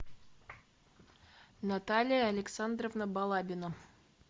наталья александровна балабина